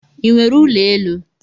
I nwere ụlọ elu?